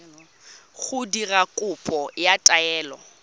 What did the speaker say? go dira kopo ya taelo